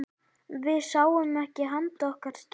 Við sáum ekki handa okkar skil.